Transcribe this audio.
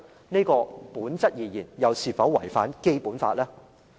在本質而言，這又是否違反《基本法》呢？